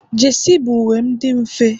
jesi bụ uwe dị mfe